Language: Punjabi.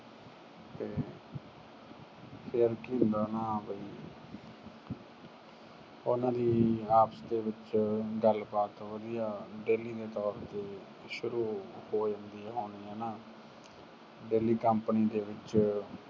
ਫਿਰ ਕੀ ਹੁੰਦਾ ਨਾ ਵੀ ਉਹਨਾਂ ਦੀ ਆਪਸ ਚ ਗੱਲਬਾਤ ਵਧੀਆ daily ਦੇ ਤੌਰ ਤੇ ਸ਼ੁਰੂ ਹੋ ਜਾਂਦੀ ਹੋਣੀ ਆ ਨਾ। daily company ਕੰਪਨੀ ਦੇ ਵਿਚ